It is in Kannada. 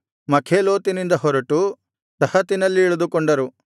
ಮಖೇಲೋತಿನಿಂದ ಹೊರಟು ತಹತಿನಲ್ಲಿ ಇಳಿದುಕೊಂಡರು